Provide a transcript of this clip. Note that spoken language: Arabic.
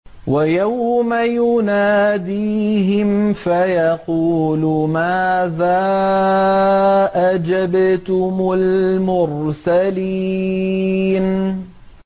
وَيَوْمَ يُنَادِيهِمْ فَيَقُولُ مَاذَا أَجَبْتُمُ الْمُرْسَلِينَ